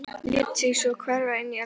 Lét sig svo hverfa inn í eldhús.